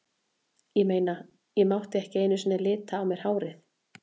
Ég meina, ég mátti ekki einu sinni lita á mér hárið.